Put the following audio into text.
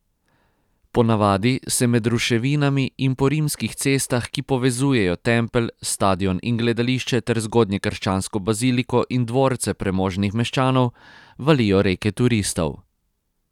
Po navadi se med ruševinami in po rimskih cestah, ki povezujejo tempelj, stadion in gledališče ter zgodnjekrščansko baziliko in dvorce premožnih meščanov, valijo reke turistov.